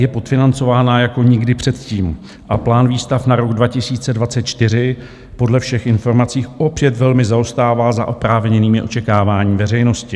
Je podfinancována jako nikdy předtím a plán výstav na rok 2024 podle všech informací opět velmi zaostává za oprávněnými očekáváními veřejnosti.